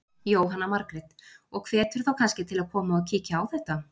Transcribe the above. Jóhanna Margrét: Og hvetur þá kannski til að koma og kíkja á þetta?